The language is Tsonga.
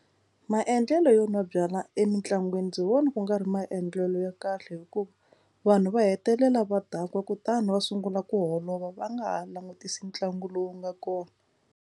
Maendlelo yo nwa byalwa emitlangwini ndzi vona ku nga ri maendlelo ya kahle hikuva vanhu va hetelela va dakwa kutani va sungula ku holova va nga ha langutisi ntlangu lowu nga kona.